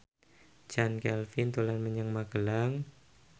Chand Kelvin dolan menyang Magelang